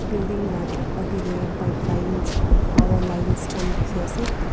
building la tek akeh teh pipelines aro power lines kan teki ase.